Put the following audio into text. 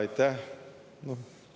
Aitäh!